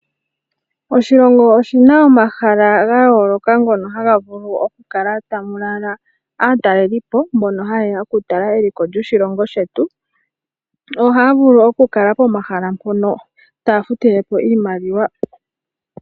Oshilongo oshina omahala ga yooloka ngono haga vulu okukala ta mu lala aatalelipo, mbono haye ya okutala eliko lyoshilongo shetu. Ohaa vulu okukala pomahala mpono taya futile po iimaliwa.